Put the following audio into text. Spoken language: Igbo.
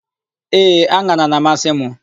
Ee, an̄ara na-amasị mụ.